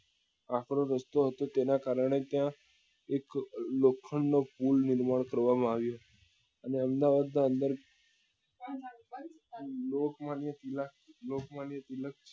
આક્રો રસ્તો હતો તેના કારણે ત્યાં એક લોખંડ નો pool નિર્માણ કરવા માં આવ્યો અને અમદાવાદ ની અંદર લોકમાન્ય તિલક લોકમાન્ય